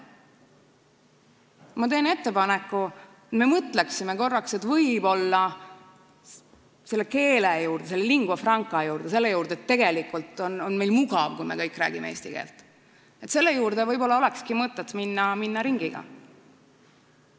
Ma teen ettepaneku mõelda korraks, et võib-olla selle keele juurde, selle lingua franca juurde, selle juurde, et tegelikult on meil mugav, kui me kõik räägime eesti keelt, olekski võib-olla mõtet minna ringiga.